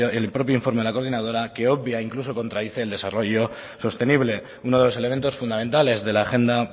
el propio informe de la coordinadora que obvia e incluso contradice el desarrollo sostenible uno de los elementos fundamentales de la agenda